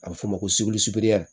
A bɛ f'o ma ko